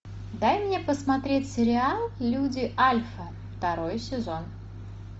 дай мне посмотреть сериал люди альфа второй сезон